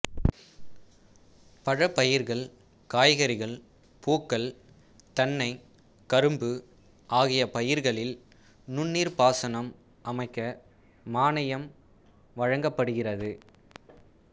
பழப் பயிர்கள் காய்கறிகள் பூக்கள் தென்னை கரும்பு ஆகிய பயிர்களில் நுண்ணீர்ப் பாசனம் அமைக்க மானியம் வழங்கப்படுகிறது